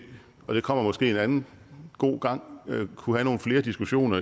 og det kommer måske en anden god gang kunne have nogle flere diskussioner